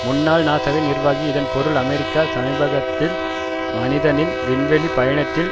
முன்னாள் நாசாவின் நிர்வாகி இதன் பொருள் அமெரிக்கா சமீபகத்தில் மனிதனின் விண்வெளி பயணத்தில்